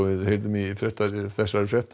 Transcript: í þessari frétt